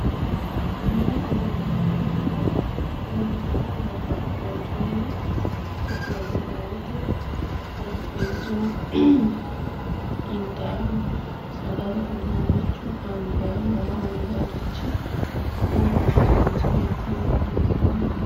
Mini uduunne yinayiihu lawishshaho babbabxxeyo coye no ofollinayiiti xarapheezzu intayiihu sagale uduunnichu angayiihu waa angayiirichi hakkoye baala manchi beetti mine horonsiraaha mini